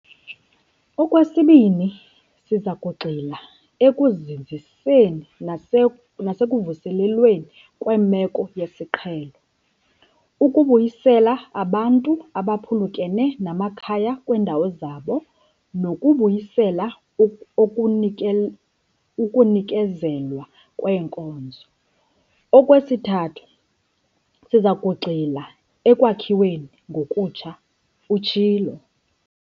"Okwesibini, siza kugxila ekuzinziseni nasekuvuselelweni kweemeko yesiqhelo, ukubuyisela abantu abaphulukene namakhaya kwiindawo zabo nokubuyisela ukunikezelwa kweenkonzo. Okwesithathu, siza kugxila ekwakhiweni ngokutsha," utshilo.